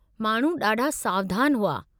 माण्हू ॾाढा सावधानु हुआ।